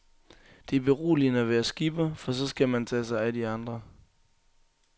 Det er beroligende at være skipper, for så skal man tage sig af de andre.